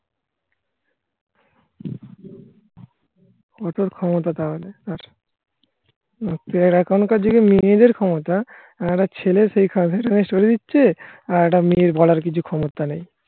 ওঠার ক্ষমতা তাহলে আপনি আর এখনকার যুগে মেয়েদের ক্ষমতা আর একটা ছেলে সেই সরে দিচ্ছে আর একটা মেয়ের বলার কিছু ক্ষমতা নেই